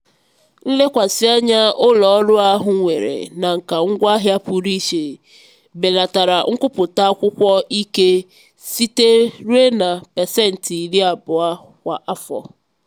nlekwasị anya ụlọ ọrụ ahụ nwere na nka ngwaahịa pụrụ iche belatara nkwupụta akwụkwọ ikike site ruo na pasentị iri abụo kwa afọ.